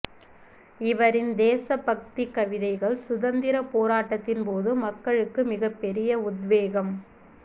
இவரின் தேசபக்தி கவிதைகள் சுதந்திரப் போராட்டத்தின் போது மக்களுக்கு மிகப்பெரிய உத்வேகம்